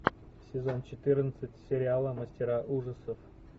сезон четырнадцать сериала мастера ужасов